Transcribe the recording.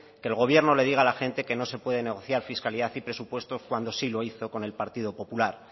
que el gobierno le diga a la gente que no se puede negociar fiscalidad y presupuestos cuando sí lo hizo con el partido popular